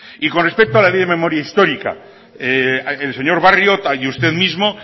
y con respecto a la ley de memoria histórica el señor barrio y usted mismo